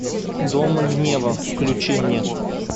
дом гнева включи мне